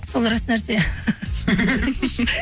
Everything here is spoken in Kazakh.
сол рас нәрсе